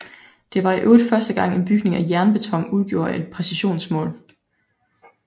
Det var i øvrigt første gang en bygning af jernbeton udgjorde et præcisionsmål